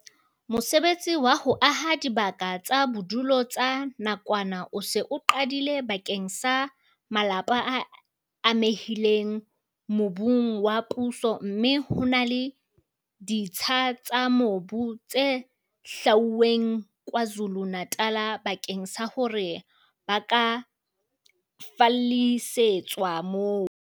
Mosebetsi wa ho aha dibaka tsa bodulo tsa nakwana o se o qadile bakeng sa malapa a amehileng mobung wa puso mme ho na le ditsha tsa mobu tse hlwauweng KwaZulu-Natal bakeng sa hore ba ka fallisetswa moo.